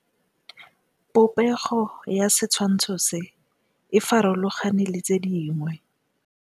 Popêgo ya setshwantshô se, e farologane le tse dingwe.